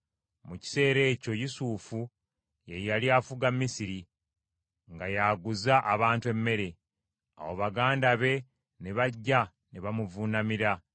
Mu kiseera ekyo Yusufu ye yali afuga Misiri; nga y’aguza abantu emmere. Awo baganda be ne bajja ne bamuvuunamira.